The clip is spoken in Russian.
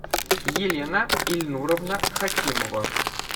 елена ильнуровна хакимова